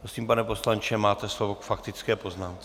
Prosím, pane poslanče, máte slovo k faktické poznámce.